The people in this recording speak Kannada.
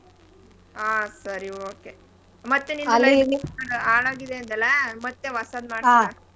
ಹಾ. ಸರಿ okay . ಮತ್ತೇ ನೀನ್ ಹಾಳಾಗಿದೆ ಅಂದಲಾ. ಮತ್ತೆ ಹೊಸಾದ್ ಮಾಡ್ಸ್ಕೋ.